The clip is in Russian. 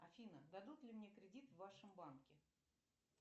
афина дадут ли мне кредит в вашем банке